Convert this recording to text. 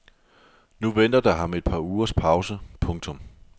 Nu venter der ham et par ugers pause. punktum